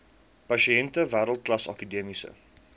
pasiënte wêreldklas akademiese